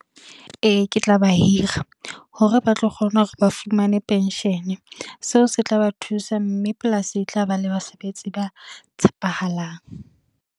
Ee, ke tla ba hira, hore ba tlo kgona hore ba fumane penshene. Seo se tla ba thusa, mme polasi e tlaba le basebetsi ba tshepahalang.